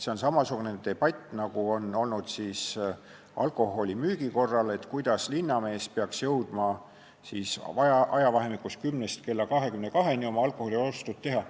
See on samasugune debatt, nagu on olnud alkoholimüügi üle, et kuidas linnamees peaks jõudma ajavahemikus 10–22 oma alkoholiostud ära teha.